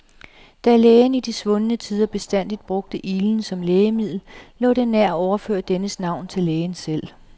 Da lægen i de svundne tider bestandig brugte iglen som lægemiddel, lå det nær at overføre dennes navn til lægen selv.